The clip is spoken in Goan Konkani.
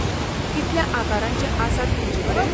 कितल्या आकारांचे आसात तुमचेकडेन?